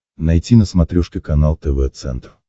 найти на смотрешке канал тв центр